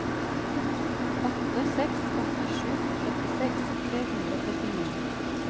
åtte seks åtte sju syttiseks tre hundre og trettini